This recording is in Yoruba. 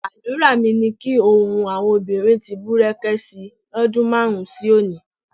Àdúrà mi ni kí ohun àwọn obìnrin ti bùrẹ̀kẹ̀ si lọ́dún márùn-ún sí òní.